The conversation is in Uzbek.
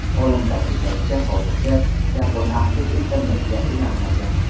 Olim ta’kidlashicha, hozircha yapon avtosi internetga ulanmagan.